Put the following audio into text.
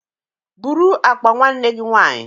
Bụrụ akpa nwanne gi nwaanyị